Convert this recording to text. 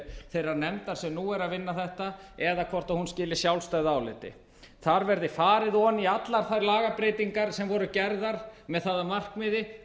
þeirrar nefndar sem nú er að vinna þetta eða hvort hún skili sjálfstæðu áliti þar verði farið ofan í allar þær lagabreytingar sem voru gerðar með það að markmiði